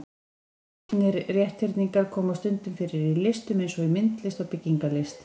Gullnir rétthyrningar koma stundum fyrir í listum eins og í myndlist og byggingarlist.